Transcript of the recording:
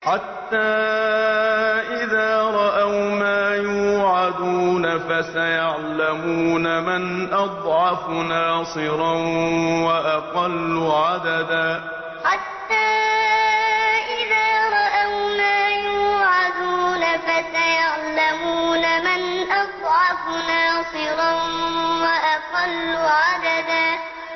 حَتَّىٰ إِذَا رَأَوْا مَا يُوعَدُونَ فَسَيَعْلَمُونَ مَنْ أَضْعَفُ نَاصِرًا وَأَقَلُّ عَدَدًا حَتَّىٰ إِذَا رَأَوْا مَا يُوعَدُونَ فَسَيَعْلَمُونَ مَنْ أَضْعَفُ نَاصِرًا وَأَقَلُّ عَدَدًا